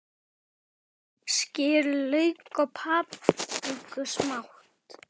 Skerið lauk og papriku smátt.